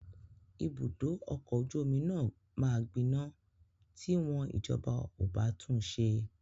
Ibùdó ọkọ ojú omi máa gbiná ti wọ́n ìjọba ò bá tun ṣe.